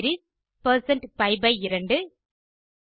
radians2டிக்ரீஸ் percent பி2